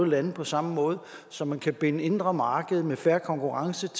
lande på samme måde så man kan binde det indre marked med fair konkurrence